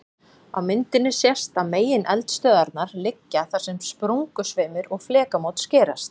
Á myndinni sést að megineldstöðvarnar liggja þar sem sprungusveimur og flekamót skerast.